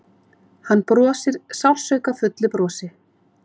Hann brosir sársaukafullu brosi.